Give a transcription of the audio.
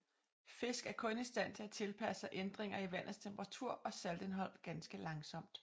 Fisk er kun i stand til at tilpasse sig ændringer i vandets temperatur og saltindhold ganske langsomt